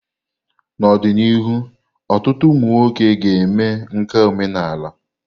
N'ọdịnihu, ọtụtụ ụmụ nwoke ga-eme nka omenala.